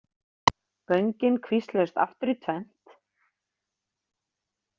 Göngin kvísluðust aftur í tvennt.